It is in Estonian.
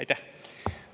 Aitäh!